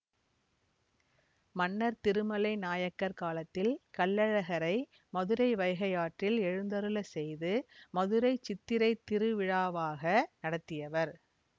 மன்னர் திருமலை நாயக்கர் காலத்தில் கள்ளழகரை மதுரை வைகையாற்றில் எழுந்தருளச் செய்து மதுரை சித்திரை திருவிழாவாக நடத்தியவர்